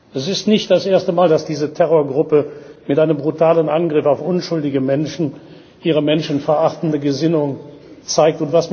Es ist nicht das erste Mal, dass diese Terrorgruppe mit einem brutalen Angriff auf unschuldige Menschen ihre menschenverachtende Gesinnung zeigt.